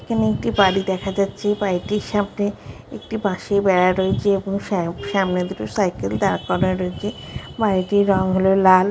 এখানে একটি বাড়ি দেখা যাচ্ছে বাড়িটির সামনে একটি বাঁশের বেড়া রয়েছে এবং সাম সামনে দুটো সাইকেল দাঁড় করা হয়েছে। বাড়িটির রঙ হল লাল।